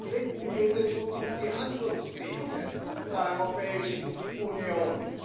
Zum Dritten geht es uns um die Handlungsfähigkeit der Europäischen Union.